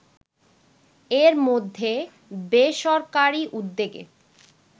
এর মধ্যে বেসরকারি উদ্যোগে